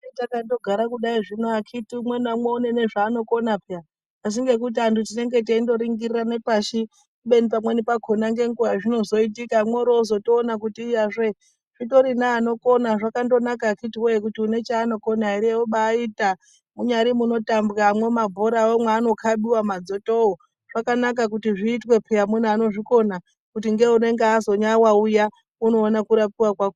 Hetakandogara kudai kuno akiti umwe naumwe une nezvaanokona peya asi ngekuti vantu tinenge teindoningirirane pashi kubeni pamweni pakhona nenguwa yazvinozoitika mworozotona kuti iyazve zvitori neanokona zvakandonaka kuti akiti woye kuti une chaanokona obaita munyari munotambwamwo mabhorawo maanokhabiwa madzotowo zvakanaka kuti zviitwe peya kuti mune anozvikona kuti ngeunenge azonyawa uya unoona kurapiwa .